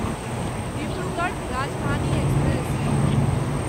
Dibrugarh Rajdhani express